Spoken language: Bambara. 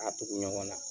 A tugu ɲɔgɔn na